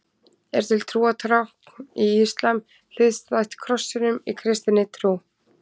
Er til trúartákn í íslam hliðstætt krossinum í kristinni trú?